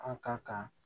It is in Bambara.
An kan ka